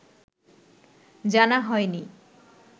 জানা হয়নি